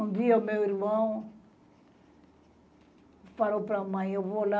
Um dia o meu irmão falou para mãe, eu vou lá,